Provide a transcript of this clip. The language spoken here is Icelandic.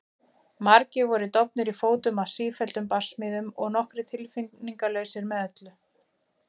Margir voru dofnir í fótum af sífelldum barsmíðum og nokkrir tilfinningalausir með öllu.